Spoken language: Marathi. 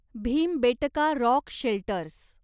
Bhimbetka rock shelters